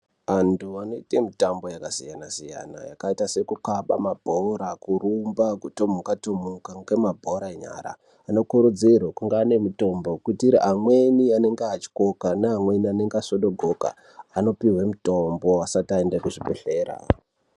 Antu anoite mitambo yakasiyana- siyana yakaita sekukhaba mabhora, kurumba, kutomuka -tomuka ngemabhora enyara, anokurudzirwa kunga ane mitombo, kuitira amweni anenge atyoka neamweni anenge asvodogoka anopihwe mitombo asati aende kuzvibhedhlera.